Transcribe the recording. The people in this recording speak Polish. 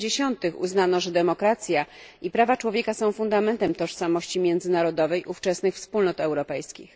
70. uznano, że demokracja i prawa człowieka są fundamentem tożsamości międzynarodowej ówczesnych wspólnot europejskich.